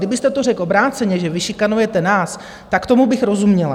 Kdybyste to řekl obráceně, že vy šikanujete nás, tak tomu bych rozuměla.